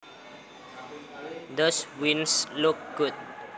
Those wieners look good